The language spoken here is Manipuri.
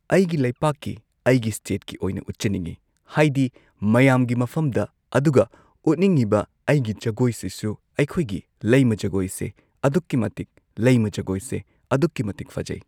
ꯑꯩꯒꯤ ꯂꯩꯄꯥꯛꯀꯤ ꯑꯩꯒꯤ ꯁ꯭ꯇꯦꯠꯀꯤ ꯑꯣꯏꯅ ꯎꯠꯆꯅꯤꯡꯏ ꯍꯥꯏꯗꯤ ꯃꯌꯥꯝꯒꯤ ꯃꯐꯝꯗ ꯑꯗꯨꯒ ꯎꯠꯅꯤꯡꯉꯤꯕ ꯑꯩꯒꯤ ꯖꯒꯣꯏꯁꯤꯁꯨ ꯑꯩꯈꯣꯏꯒꯤ ꯂꯩꯃ ꯖꯒꯣꯏꯁꯦ ꯑꯗꯨꯛꯀꯤ ꯃꯇꯤꯛ ꯂꯩꯃ ꯖꯒꯣꯏꯁꯦ ꯑꯗꯨꯛꯀꯤ ꯃꯇꯤꯛ ꯐꯖꯩ